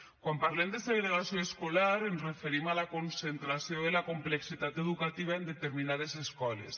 quan parlem de segregació escolar ens referim a la concentració de la complexitat educativa en determinades escoles